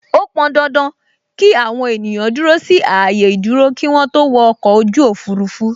Ó pọn dandan ki àwọn ènìyàn dúró sí ààyè ìdúró kí wọn tó wọ ọkọ̀ ojú òfurufú